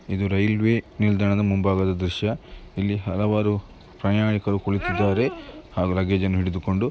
ಇದು ರೈಲ್ವೆ ನಿಲ್ದಾಣದ ಮುಂಭಾಗದ ದೃಶ್ಯ ಇಲ್ಲಿ ಹಲವಾರು ಪ್ರಯಾಣಿಕರು ಕುಳಿತಿದ್ದಾರೆ ಹಾಗು ಲಗೆಜನ್ನು ಹಿಡಿದುಕೊಂಡು --